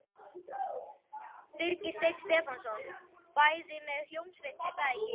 Birgir Steinn Stefánsson: Bæði með hljómsveit er það ekki?